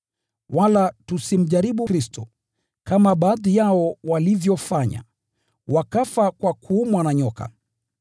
Wala tusimjaribu Kristo, kama baadhi yao walivyofanya, wakafa kwa kuumwa na nyoka.